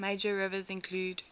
major rivers include